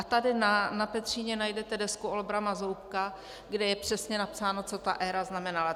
A tady na Petříně najdete desku Olbrama Zoubka, kde je přesně napsáno, co ta éra znamenala.